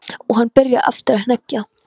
Og hann byrjaði aftur að hneggja.